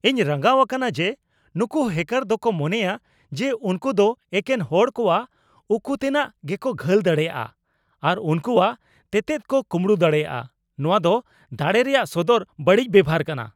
ᱤᱧ ᱨᱟᱸᱜᱟᱣ ᱟᱠᱟᱱᱟ ᱡᱮ ᱱᱩᱝᱠᱩ ᱦᱮᱠᱟᱨ ᱫᱚᱠᱚ ᱢᱚᱱᱮᱭᱟ ᱡᱮ ᱩᱝᱠᱩ ᱫᱚ ᱮᱠᱮᱱ ᱦᱚᱲ ᱠᱚᱣᱟᱜ ᱩᱠᱩᱛᱮᱱᱟᱜ ᱜᱮᱠᱚ ᱜᱷᱟᱹᱞ ᱫᱟᱲᱮᱭᱟᱜᱼᱟ ᱟᱨ ᱩᱝᱠᱩᱣᱟᱜ ᱛᱮᱛᱮᱫ ᱠᱚ ᱠᱩᱸᱵᱲᱩ ᱫᱟᱲᱮᱭᱟᱜᱼᱟ ᱾ ᱱᱚᱣᱟ ᱫᱚ ᱫᱟᱲᱮ ᱨᱮᱭᱟᱜ ᱥᱚᱫᱚᱨ ᱵᱟᱹᱲᱤᱡ ᱵᱮᱵᱚᱦᱟᱨ ᱠᱟᱱᱟ ᱾